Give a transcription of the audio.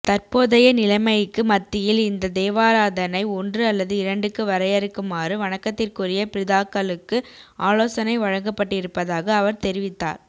தற்போதைய நிலைமைக்கு மத்தியில் இந்த தேவாராதணை ஒன்று அல்லது இரண்டுக்கு வரையறுக்குமாறு வணக்கத்திற்குரிய பிதாக்களுக்கு ஆலோசனை வழங்கப்பட்டிருப்பதாக அவர் தெரிவித்தார்